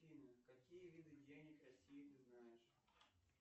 афина какие виды денег россии ты знаешь